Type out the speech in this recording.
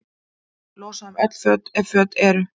Losa um öll föt, ef föt eru.